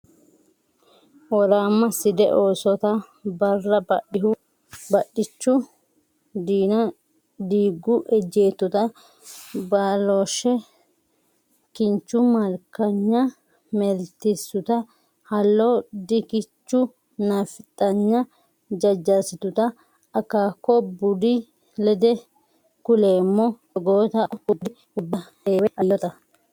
Woraamma Side oosota Barra badhichu Diina diiggu ejjeettota Ba’looshshe kinchu Malkanya maaeelsituta Hallo dikichu Naafixanya jajjarsituta Akaako buudi Lede kuleemmo toggoota Akko guggudi Worbu Heewe Aliitota.